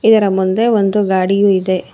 ಇದರ ಮುಂದೆ ಒಂದು ಗಾಡಿಯು ಇದೆ.